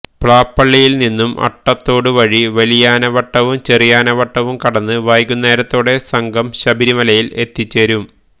പ്ലാപ്പള്ളിയിൽ നിന്നും അട്ടത്തോട് വഴി വലിയാനവട്ടവും ചെറിയാനവട്ടവും കടന്ന് വൈകുന്നേരത്തോടെ സംഘം ശബരിമലയിൽ എത്തിച്ചേരും